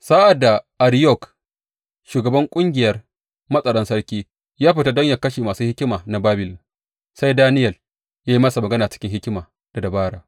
Sa’ad da Ariyok, shugaban ƙungiyar matsaran sarki, ya fita domin yă kashe masu hikima na Babilon, sai Daniyel ya yi masa magana cikin hikima da dabara.